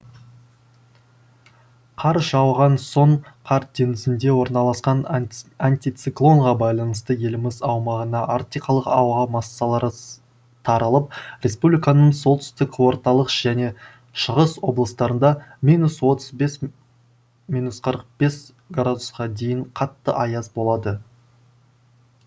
қар жауған соң кар теңізінде орналасқан антициклонға байланысты еліміз аумағына арктикалық ауа массалары таралып республиканың солтүстік орталық және шығыс облыстарында минус отыз бес минус қырық бес градусқа дейін қатты аяз болады